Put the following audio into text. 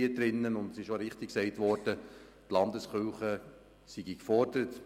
Richtigerweise wurde auch gesagt, die Landeskirchen seien gefordert.